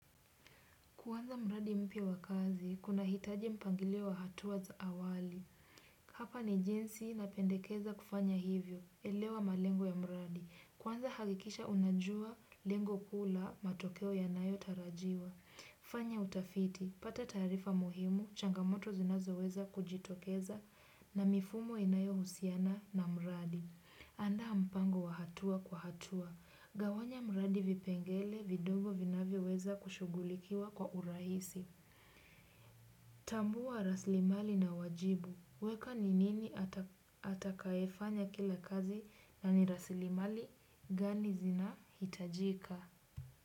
Kuanza mradi mpya wa kazi, kunahitaji mpangilio wa hatua za awali. Hapa ni jinsi napendekeza kufanya hivyo, elewa malengo ya mradi. Kwanza hakikisha unajua, lengo kuu la, matokeo yanayotarajiwa. Fanya utafiti, pata taarifa muhimu, changamoto zinazoweza kujitokeza na mifumo inayohusiana na mradi. Andaa mpango wa hatua kwa hatua. Gawanya mradi vipengele vidongo vinavyoweza kushughulikiwa kwa urahisi. Tambua rasilimali na wajibu. Weka ni nini atakayefanya kila kazi na ni rasilimali gani zinahitajika?